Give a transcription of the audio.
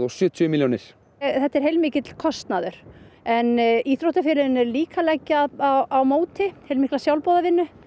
sjötíu milljónir þetta er heilmikill kostnaður en íþróttafélögin eru líka að leggja á móti heilmikla sjálfboðavinnu